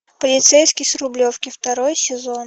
полицейский с рублевки второй сезон